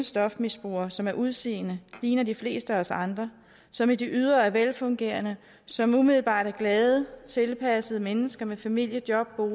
stofmisbrugere som af udseende ligner de fleste af os andre som i det ydre er velfungerende som umiddelbart er glade og tilpassede mennesker med familie job og